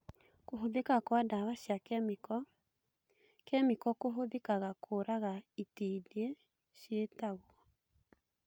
Kũhũthĩka kwa ndawa cia kĩmĩko - kĩmĩko nĩhũthĩkaga kũraga itindiĩ ciĩtagwo